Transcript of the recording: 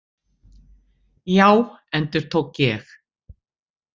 Já, endurtók ég.